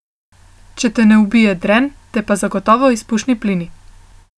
Če te ne ubije dren, te pa zagotovo izpušni plini.